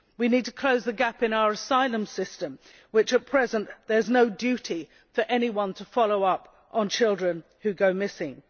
We need to close the gap in our asylum system, where at present there is no duty for anyone to follow up on children who go missing.